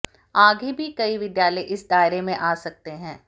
आगे भी कई विद्यालय इस दायरे में आ सकते हैं